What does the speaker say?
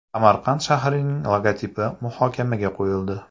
Samarqand shahrining logotipi muhokamaga qo‘yildi.